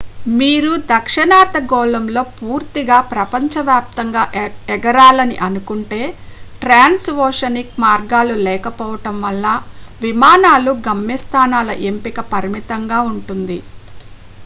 మీరు దక్షిణార్ధ గోళంలో పూర్తిగా ప్రపంచవ్యాప్తంగా ఎగరాలని అనుకుంటే ట్రాన్స్ ఓషనిక్ మార్గాలు లేకపోవడం వలన విమానాలు గమ్యస్థానాల ఎంపిక పరిమితంగా ఉంటుంది